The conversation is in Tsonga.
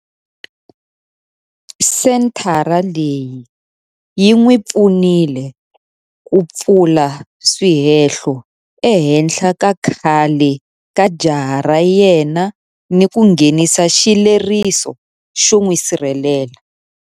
Senthara leyi yi n'wi pfunile ku pfula swihehlo ehenhla ka khale ka jaha ra yena ni ku nghenisa xileriso xo n'wi sirhelela.